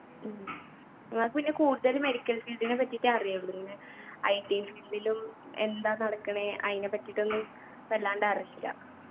ഉം ഉമ്മാക്ക് പിന്നെ കൂടുതല് medical field നെപ്പറ്റിട്ടെ അറിയുള്ളു ഇങ്ങനെ IT field ലും എന്താ നടക്ക്ണെ അയിനെപ്പറ്റിട്ടൊന്നും വല്ലാണ്ട് അറീല